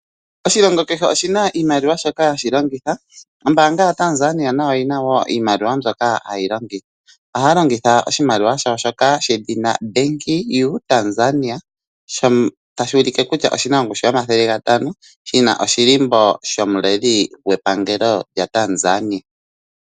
Oshilongo kehe oshina iimaliwa shoka hashi longitha ombanga yaTanzania nayo oyina wo iimaliwa mbyoka haya longitha. Ohaya longitha oshimaliwa shawo shoka hashi ithanwa Benki yu Tanzania sho tashi ulike kutya oshina ongushu yomathele gatano shina oshilimbo shomuleli gwepangelo lyaTanzania